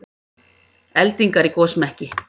Eldingar í gosmekki